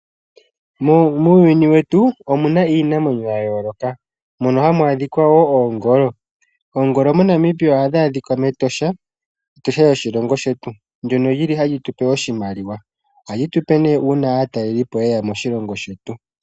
Muuyuni wetu omuna iinamwenyo ya yooloka. Mono hamu adhika woo Oongolo. Oongolo mo Namibia ohadhi adhika mEtosha. Etosha lyoshilongo shetu ndyono lili hali tu pe oshimaliwa. Ohali tu pe nee uuna aatalelipo ye ya moshilongo shetu.